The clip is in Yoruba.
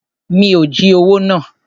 Mi ò jí owó náà.